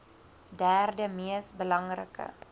derde mees belangrike